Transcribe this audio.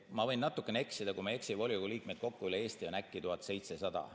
Ma võin natuke eksida, aga kui ma ei eksi, siis volikogude liikmeid kokku üle Eesti on äkki 1700.